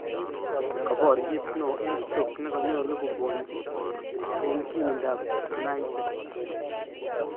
ka pioret neo en Stock neganyalu kobwanji en kimindap United